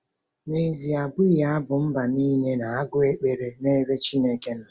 N’ezie, abụghị abụ mba niile na-agụ ekpere n’ebe Chineke nọ.